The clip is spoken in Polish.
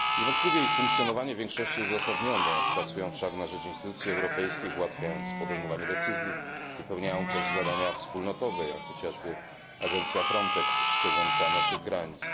Niewątpliwie ich funkcjonowanie w większości jest uzasadnione pracują wszak na rzecz instytucji europejskich, ułatwiając podejmowanie decyzji, wypełniają też zadania wspólnotowe, jak chociażby agencja FRONTEX strzegąca naszych granic.